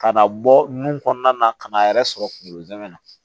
Ka na bɔ nun kɔnɔna na ka n'a yɛrɛ sɔrɔ kungolo zɛmɛ na